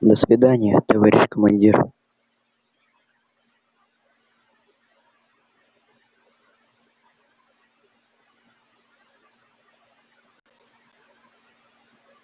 до свидания товарищ командир